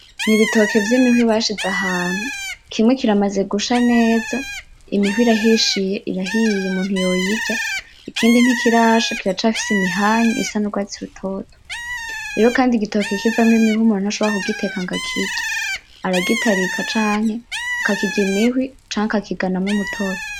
N'ibitoke vy'imihwi bashize ahantu kimwe kiramaza gusha neza; imihwi irahishiye; irahiye umuntu yoyirya, ikindi ntikirasha kiracafise imihanyu isa n'ugwatsi rutoto, rero kandi igitoki kivamwo imihwi umuntu ntashobora kugiteka ngo akirye, aragitarika canke akakirya imihwi canke akakiganamwo umutobe.